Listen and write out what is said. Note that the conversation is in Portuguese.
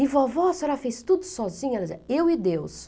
E vovó, a senhora fez tudo sozinha, ela dizia eu e Deus.